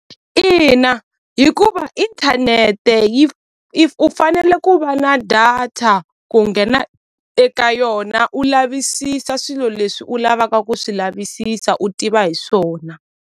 Ina hikuva inthanete yi u fanele ku va na data ku nghena eka yona u lavisisa swilo leswi u lavaka ku swi lavisisa u tiva hi swona.